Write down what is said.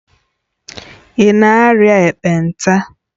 Ị na-arịa ekpenta?